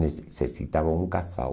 Necessitava um casal.